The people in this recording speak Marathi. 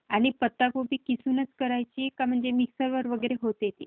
आणि पत्ता कोबी किसूनच करायची का म्हणजे मिक्सरवर वगैरे होते ते?